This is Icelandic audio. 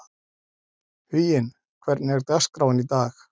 Huginn, hvernig er dagskráin í dag?